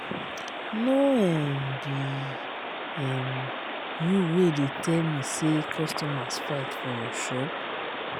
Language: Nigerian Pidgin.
no um be um you wey dey tell me say customers fight for your shop.